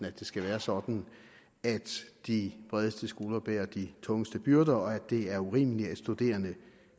at det skal være sådan at de bredeste skuldre bærer de tungeste byrder og at det er urimeligt at studerende